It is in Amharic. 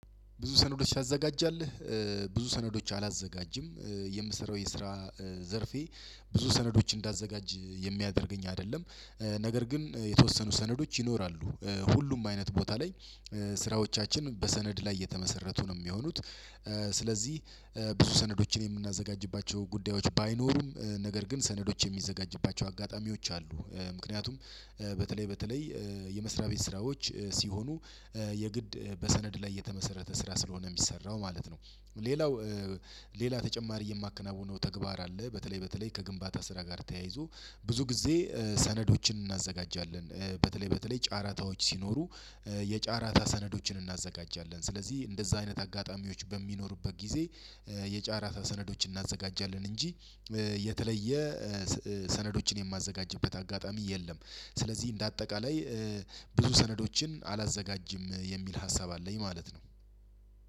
ብዙ ሰነዶች ታዘጋጃለ ብዙ ሰነዶች አላዘጋጅም የምሰራው የስራ ዘርፌ ብዙ ሰነዶች እንዳዘጋጅ የሚያደርገኝ አይደለም። ነገር ግን የተወሰኑ ሰነዶች ይኖራሉ ሁሉም አይነት ቦታ ላይ ስራዎቻችን በሰነድ ላይ የተመሰረቱ ነው የሚሆኑት። ስለዚህ ብዙ ሰነዶችን የምናዘጋጅባቸው ጉዳዮች ባይኖሩም ነገር ግን ሰነዶች የሚዘጋጅባቸው አጋጣሚዎች አሉ። ምክንያቱም በተለይ በተለይ የመስሪያ ቤት ስራዎች ሲሆኑ የግድ በሰነድ ላይ የተመሰረተ ስራ ስለሆነ የሚሰራው ማለት ነው። ሌላው ሌላ ተጨማሪ የማከናውነው ተግባር አለ። በተለይ በተለይ ከግንባታ ስራ ጋር ተያይዞ ብዙ ጊዜ ሰነዶችን እናዘጋጃለን። በተለይ በተለይ ጫራታዎች ሲኖሩ የጫራታ ሰነዶችን እናዘጋጃለን። ስለዚህ እንደዛ አይነት አጋጣሚዎች በሚኖሩበት ጊዜ የጫራታ ሰነዶችን እናዘጋጃለን። እንጂ የተለየ ሰነዶችን የማዘጋጅበት አጋጣሚ የለም። ስለዚህ እንደ አጠቃላይ ብዙ ሰነዶችን አላዘጋጅም የሚል ሀሳብ አለኝ ማለት ነው።